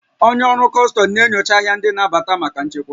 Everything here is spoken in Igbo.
Onye ọrụ kọstọm na-enyocha arịa ndị na-abata maka nchekwa